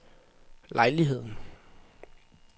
lejligheden